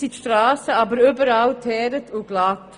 Jetzt sind die Strassen überall geteert und glatt.